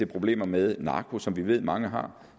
problemer med narko som vi ved at mange har